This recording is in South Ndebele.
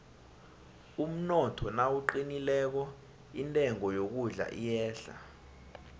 umnotho nawuqinileko intengo yokudla iyehla